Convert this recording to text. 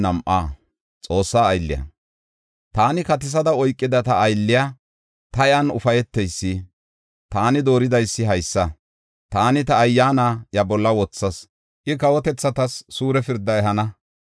“Taani katisada oykida ta aylley, ta iyan ufayteysi, taani dooridaysi haysa. Taani ta Ayyaana iya bolla wothas; I kawotethatas suure pirda ehana.